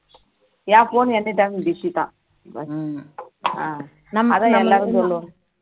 என் phone any time busy அதான் எல்லாரும் சொல்ல்லுவாங்க